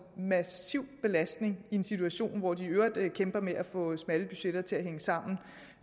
massiv belastning i en situation hvor de i øvrigt kæmper med at få smalle budgetter til at hænge sammen